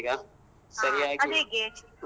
ಹ ಅದ್ಹೇಗೆ?